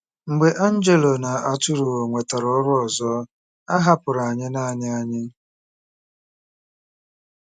Mgbe Angelo na Arturo nwetara ọrụ ọzọ, a hapụrụ anyị naanị anyị.